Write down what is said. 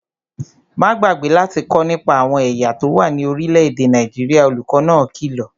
Má gbàgbé láti kọ́ nípa àwọn ẹ̀yà tó wà ní orílẹ̀-èdè Nàìjíríà, olùkó náà kìlọ̀